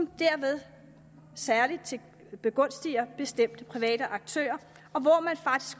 og derved særlig begunstiger bestemte private aktører